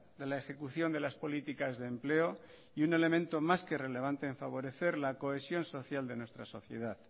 de la ejecución de las políticas de empleo y un elemento más que relevante en favorecer la cohesión social de nuestra sociedad